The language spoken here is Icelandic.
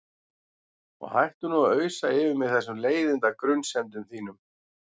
Og hættu nú að ausa yfir mig þessum leiðinda grunsemdum þínum.